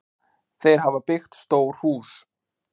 Þau hafa byggt stórt hús.